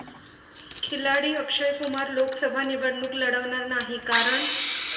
खिलाडी अक्षय कुमार लोकसभा निवडणूक लढवणार नाही, कारण...